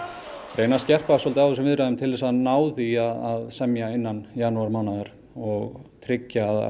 reyna að skerpa á þessum viðræðum til að ná því að semja innan janúarmánaðar og tryggja að